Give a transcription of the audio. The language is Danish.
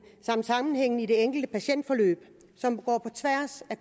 og sammenhængen i det enkelte patientforløb som går på tværs af